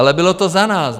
Ale bylo to za nás.